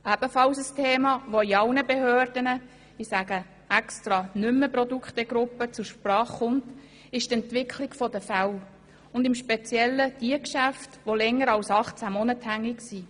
Ebenfalls ein Thema, das in allen Behörden – ich sage hier absichtlich nicht mehr «Produktegruppen» – zur Sprache kommt, ist die Entwicklung der Fälle, und im Speziellen derjenigen Geschäfte, welche länger als 18 Monate hängig sind.